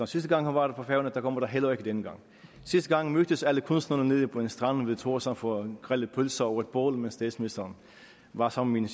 sidste gang hun var på færøerne og det bliver der heller ikke denne gang sidste gang mødtes alle kunstnerne nede på en strand ved thorshavn for at grille pølser over et bål mens statsministeren var sammen